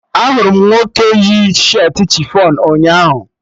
Ahụrụ m nwoke yi shirtị chifọn ụnyaahụ